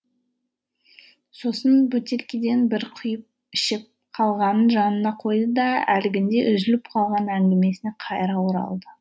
сосын бөтелкеден бір құйып ішіп қалғанын жанына қойды да әлгінде үзіліп қалған әңгімесіне қайыра оралды